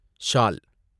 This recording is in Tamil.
சால்